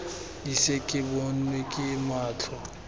ise ke bonwe ke matlho